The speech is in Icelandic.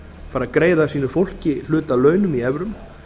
fara að greiða sínu fólki hluta af launum í evrum